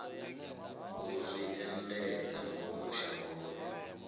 u zwi endedza ngomu shangoni